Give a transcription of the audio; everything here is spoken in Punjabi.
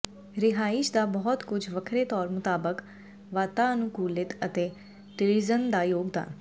ਰਿਹਾਇਸ਼ ਦਾ ਬਹੁਤ ਕੁਝ ਵੱਖਰੇ ਤੌਰ ਮੁਤਾਬਕ ਵਾਤਾਅਨੁਕੂਲਿਤ ਅਤੇ ਟਲੀਿੀਜ਼ਨ ਦਾ ਯੋਗਦਾਨ